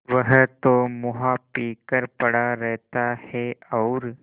वह तो मुआ पी कर पड़ा रहता है और